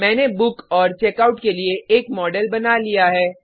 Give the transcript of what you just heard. मैंने बुक और चेकआउट के लिए एक मॉडल बना लिया है